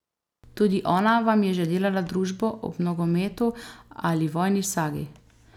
Tudi ona vam je že delala družbo ob nogometu ali vojni sagi.